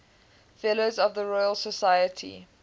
fellows of the royal society